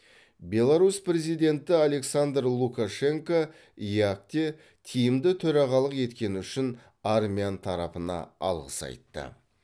беларусь президенті александр лукашенко еэк де тиімді төрағалық еткені үшін армян тарапына алғыс айтты